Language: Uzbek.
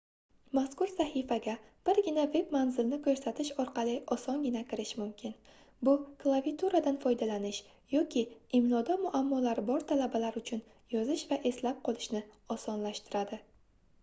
mazkur sahifaga birgina veb-manzilni koʻrsatish orqali osongina kirish mumkin bu klaviaturadan foydalanish yoki imloda muammolari bor talabalar uchun yozish va eslab qolishni osonlashtiradi